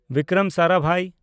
Bikram Sarabhai